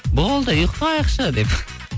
болды ұйықтайықшы деп